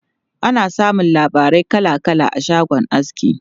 Ana samun labarai kala kala a shagon aski.